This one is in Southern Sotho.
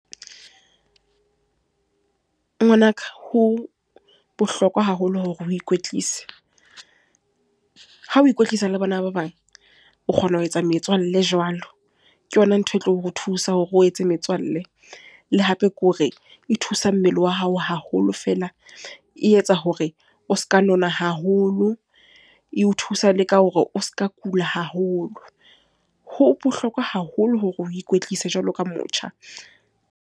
Ngwanaka, ho bohlokwa haholo hore o ikwetlise. Ha o ikwetlisa le bona ba bang. O kgona ho etsa metswalle jwalo, ke yona ntho e tlo re thusa hore o etse metswalle. Le hape ke hore, e thusa mmele wa hao haholo feela. E etsa hore o se ka nona haholo. E o thusa le ka hore o se ka kula haholo. Ho bohlokwa haholo hore o ikwetlise jwalo ka motjha.